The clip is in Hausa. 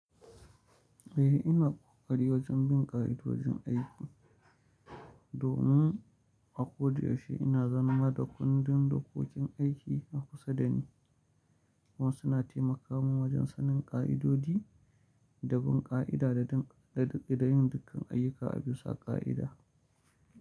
Eh ina ƙoƙari wojen bin ƙa'idodin aiki, domin a koda yauce ina zama da kundin dokokin aiki na kusa da ni, kuma suna taimaka min wojen sanin ƙa'idodi da bin ƙa'ida da bin dukkan ayyuka a bisa ƙa'ida.